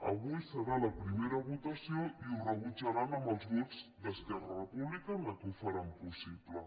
avui serà la primera votació i ho rebutjaran amb els vots d’esquerra republicana que ho faran possible